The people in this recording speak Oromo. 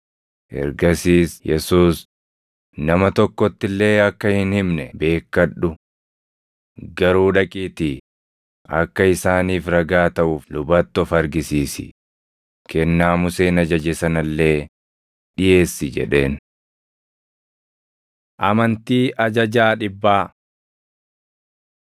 Ergasiis Yesuus, “Nama tokkotti illee akka hin himne beekkadhu. Garuu dhaqiitii akka isaaniif ragaa taʼuuf lubatti of argisiisi; kennaa Museen ajaje sana illee dhiʼeessi” jedheen. Amantii Ajajaa Dhibbaa 8:5‑13 kwf – Luq 7:1‑10